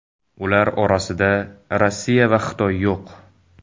Ular orasida Rossiya va Xitoy yo‘q.